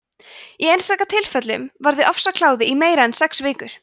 í einstaka tilfellum varir ofsakláði í meira en sex vikur